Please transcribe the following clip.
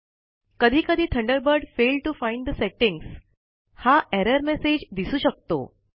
कधी कधी Thunderbird failed to find the settings हा एरर मेसेज दिसू शकतो